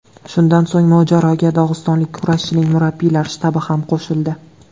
Shundan so‘ng mojaroga dog‘istonlik kurashchining murabbiylar shtabi ham qo‘shildi.